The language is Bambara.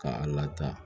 K'a lataa